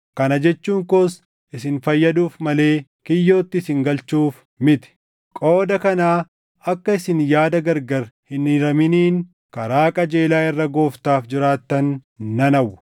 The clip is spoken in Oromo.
Kana jechuun koos isin fayyaduuf malee kiyyootti isin galchuuf miti; qooda kanaa akka isin yaada gargar hin hiraminiin karaa qajeelaa irra Gooftaaf jiraattan nan hawwa.